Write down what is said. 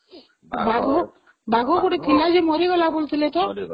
ଆଉ ବାଘ, ବାଘ ଗୋଟେ ଥିଲା ମରିଗଲା ବୋଲୁ ଥିଲେ ତ